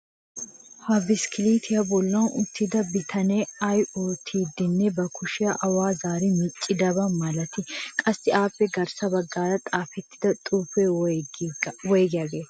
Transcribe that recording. Ha biskkiliitiya bollan uttida bitanee ay oottiiddinne ba kushiya awa zaari miccidaba malatii? Qassi appe garssa baggaara xaafettida xuufee woygiyagee?